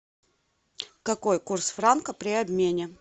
какой курс франка при обмене